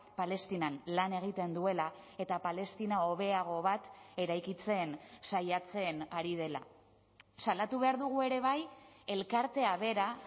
palestinan lan egiten duela eta palestina hobeago bat eraikitzen saiatzen ari dela salatu behar dugu ere bai elkartea bera